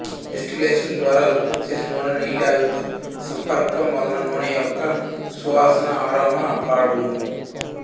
distillation ద్వారా ఉత్పత్తి చేసిన నూనె నీటి ఆవిరితో సంపర్కం వలన నూనె యొక సువాసనఆరోమా పాడగును